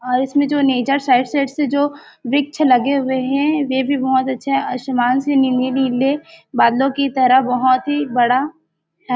और इसमें जो नेचर साइड साइड से जो वृक्ष लगे हुए है वे भी बहोत अच्छे आसमान से नीले-नीले बादलों की तरह बहोत ही बड़ा है।